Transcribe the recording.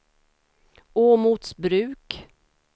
Åmotsbruk